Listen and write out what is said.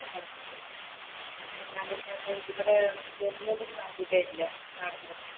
അങ്ങനെ ആണേല് ഇവടെ വരുന്നതും സാധ്യതയില്ല നടന്ന്